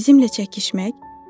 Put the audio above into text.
Bizimlə çəkişmək?